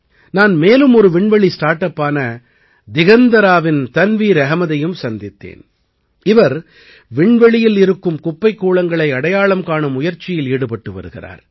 நான் மேலும் ஒரு விண்வெளி ஸார்ட் அப்பான திகந்தராவின் தன்வீர் அஹ்மதையும் சந்தித்தேன் இவர் விண்வெளியில் இருக்கும் குப்பைக் கூளங்களை அடையாளம் காணும் முயற்சியில் ஈடுபட்டு வருகிறார்